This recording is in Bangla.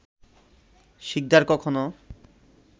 শিকদার কখনো